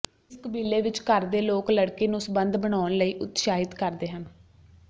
ਇਸ ਕਬੀਲੇ ਵਿੱਚ ਘਰ ਦੇ ਲੋਕ ਲੜਕੀ ਨੂੰ ਸਬੰਧ ਬਣਾਉਣ ਲਈ ਉਤਸ਼ਾਹਿਤ ਕਰਦੇ ਹਨ